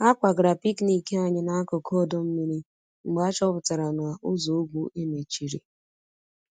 A kwagara picnic anyị n'akụkụ ọdọ mmiri mgbe achọpụtara na ụzọ ùgwù e mechiri